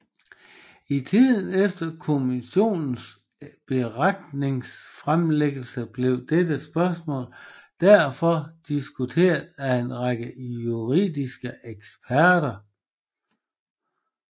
I tiden efter kommissionens beretningsfremlæggelse blev dette spørgsmål derfor diskuteret af en række juridiske eksperter